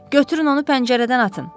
Götürün onu pəncərədən atın!